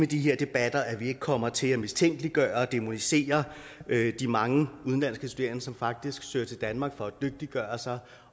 de her debatter ikke kommer til at mistænkeliggøre og dæmonisere de mange udenlandske studerende som faktisk søger til danmark for at dygtiggøre sig